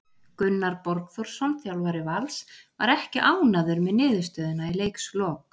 Gunnar Borgþórsson þjálfari Vals var ekki ánægður með niðurstöðuna í leikslok.